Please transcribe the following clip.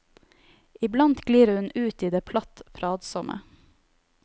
Iblant glir hun ut i det platt pratsomme.